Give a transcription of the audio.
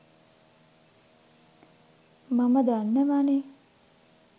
මම දන්නවනේ.